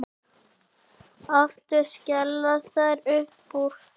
Aftur skella þær upp úr.